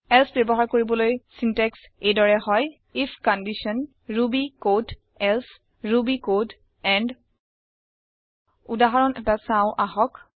else বয়ৱহাৰ কৰিবলৈ syntax এই দৰে হয় if condition Ruby code else Ruby code end উদাহৰণ এটা চাওঁ আহক